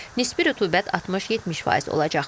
Nisbi rütubət 60-70% olacaq.